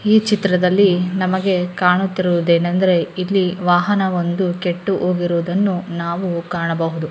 ಈ ಚಿತ್ರದಲ್ಲಿ ನಮಗೆ ಕಾಣುತ್ತಿರುವುದು ಏನೆಂದರೆ ಇಲ್ಲಿ ವಾಹನ ಒಂದು ಕೆಟ್ಟು ಹೋಗಿರುವುದನ್ನು ನಾವು ಕಾಣಬಹುದು.